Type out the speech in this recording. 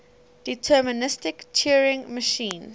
deterministic turing machine